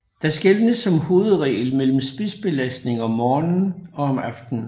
Der skelnes som hovedregel mellem spidsbelastning om morgenen og om aftenen